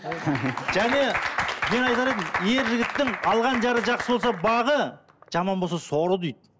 және мен айтар едім ер жігіттің алған жары жақсы болса бағы жаман болса соры дейді